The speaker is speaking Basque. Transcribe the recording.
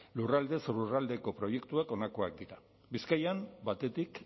lurraldez lurraldeko proiektuek honakoak dira bizkaian batetik